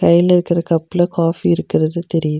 கைல வைக்கற கப்ல காஃபி இருக்குறது தெரி --